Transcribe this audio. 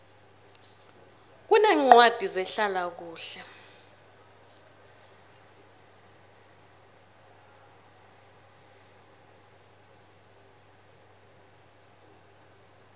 kuneencwadi zehlala kuhle